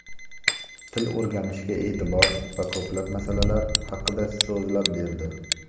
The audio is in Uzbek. til o‘rganishga e’tibor va ko‘plab masalalar haqida so‘zlab berdi.